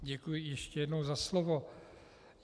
Děkuji ještě jednou za slovo.